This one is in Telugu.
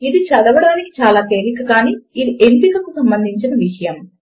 ఇది చదవడమునకు చాలా తేలిక కానీ ఇది ఎంపికకు సంబంధించిన విషయము